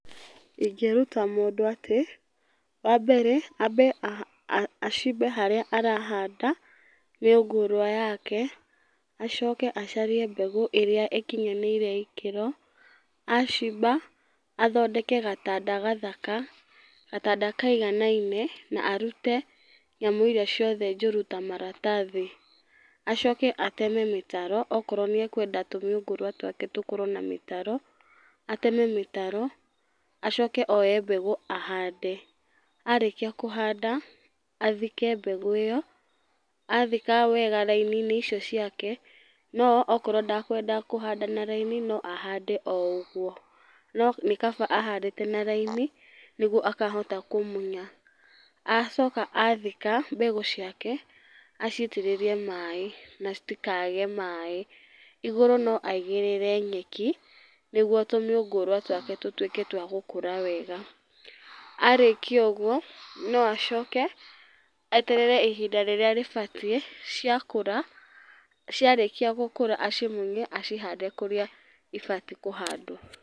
Ingĩruta mũndũ atĩ, wambere ambe acimbe harĩa arahanda, mĩũngũrwa yake. Acoke acarie mbegũ ĩrĩa ĩkinyanĩire ikĩro, acimba, athondeke gatanda gathaka, gatanda kaiganaine, na arute nyamũ iria ciothe njũru, ta maratathi. Acoke ateme mĩtaro, okorwo nĩekwenda tũmĩũngũrwa twake tũkorwo na mĩtaro, ateme mĩtaro. Acoke oe mbegũ ahande. Arĩkia kũhanda, athike mbegũ ĩyo, athika wega raini-inĩ icio ciake, no okorwo ndakwenda kũhanda na raini no ahande o ũguo. No nĩ kaba ahandĩte na raini nĩguo akahota kũmunya. Acoka athika mbegũ ciake acitĩrĩrie maĩ na citikage maĩ. Igũrũ no aigĩrĩre nyeki nĩguo tũmĩũngũrwa twake tũtuĩke twa gũkũra wega. Arĩkia ũguo, no acoke eterere ihinda rĩrĩa rĩbatiĩ, ciakũra, ciarĩkia gũkũra acimunye acihande kũrĩa ibatiĩ kũhandwo.